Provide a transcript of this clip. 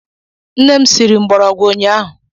Nne m siri mgbọrọgwụ ụnyaahụ.